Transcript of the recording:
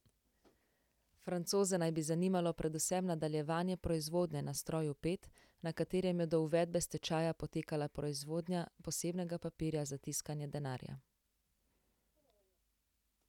Francoze naj bi zanimalo predvsem nadaljevanje proizvodnje na stroju pet, na katerem je do uvedbe stečaja potekala proizvodnja posebnega papirja za tiskanje denarja.